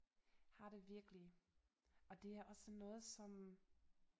Har det virkelig og det er også noget som